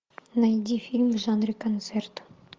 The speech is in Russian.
найди фильм в жанре концерт